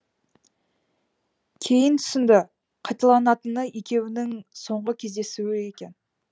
кейін түсінді қайталанатыны екеуінің соңғы кездесуі екен